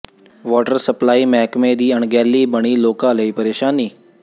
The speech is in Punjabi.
ਵਾਟਰ ਸਪਲਾਈ ਮਹਿਕਮੇ ਦੀ ਅਣਗਹਿਲੀ ਬਣੀ ਲੋਕਾਂ ਲਈ ਪ੍ਰੇਸ਼ਾਨੀ